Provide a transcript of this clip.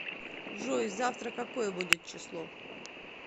джой завтра какое будет число